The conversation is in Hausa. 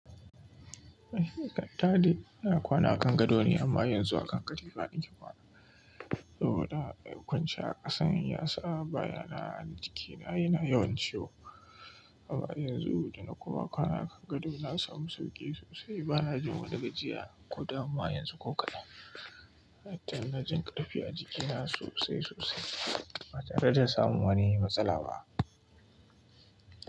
Eh, da dare ina kwana a Kangado ne amma yanzu a kan katifa na ke kwana. Saboda kunce a ƙasan ya sa bayana a jikina yana yawan ciwo. Amma yanzu da na kuma kwana a Kangado na samu sauƙi sosai. Ba na jin wani gajiya ko damuwa yanzu ko kaɗan. Har na jin ƙarfi a jikina sosai sosai ba tare da samun wani matsala ba.